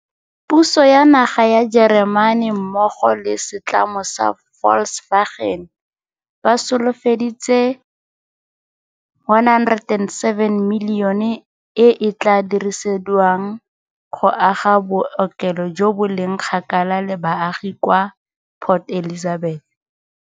Puso ya naga ya Jeremane mmogo le setlamo sa Volkswagen ba solofeditse R107 milione e e tla dirisediwang go aga bookelo jo bo leng kgakala le baagi kwa Port Elizabeth.